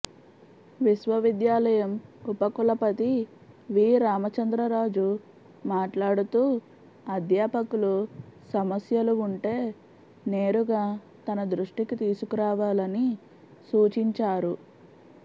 విశ్వవిద్యాలయం ఉపకులపతి వి రామచంద్రరాజు మాట్లాడుతూ అధ్యాపకులు సమస్యలు ఉంటే నేరుగా తన దృష్టికి తీసుకురావాలని సూచించారు